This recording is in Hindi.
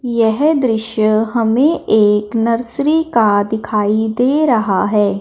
यह दृश्य हमें एक नर्सरी का दिखाई दे रहा है।